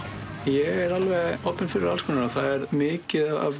ég er opinn fyrir alls konar það er mikið af